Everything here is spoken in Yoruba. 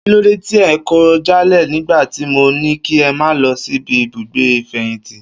Kílóde tí ẹ kọ̀ jálẹ̀ nigba ti mo ni kí ẹ ma lọ sibi ibugbe ifẹyinti.